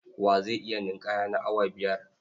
Wa zai iya ninƙaya na awa biyar?